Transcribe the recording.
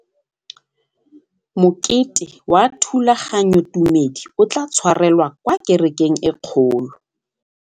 Mokete wa thulaganyôtumêdi o tla tshwarelwa kwa kerekeng e kgolo.